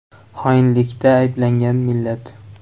Xoinlikda ayblangan millat.